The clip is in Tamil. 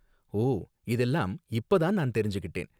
ஓ, இதெல்லாம் இப்ப தான் நான் தெரிஞ்சுக்கிட்டேன்.